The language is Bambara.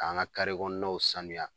An ka kɔɔnaw saniya